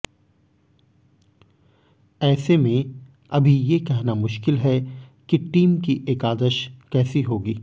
ऐसे में अभी ये कहना मुश्किल है कि टीम की एकादश कैसी होगी